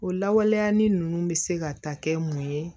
O lawaleyali ninnu bɛ se ka ta kɛ mun ye